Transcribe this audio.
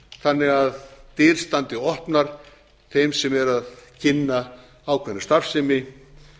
þannig að dyr standi opnar þeim sem eru að kynna ákveðna starfsemi